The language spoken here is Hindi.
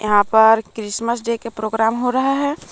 यहां पर क्रिसमस डे का प्रोग्राम हो रहा है।